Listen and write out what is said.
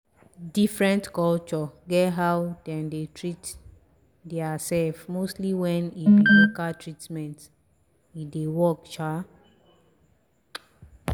diffrent culture get how dem dey treat deir self mostly wen e be local treatment e dey work sha!.